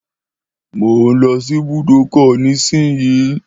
Mò ún lọ sí ibùdókọ̀ náà nísìínyi